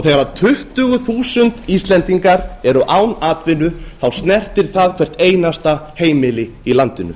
þegar tuttugu þúsund íslendingar eru án atvinnu snertir það hvert einasta heimili í landinu